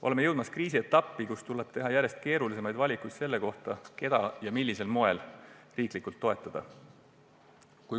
Oleme jõudmas sellesse kriisi etappi, kus tuleb teha järjest keerulisemaid valikuid, keda ja millisel moel riiklikult toetada.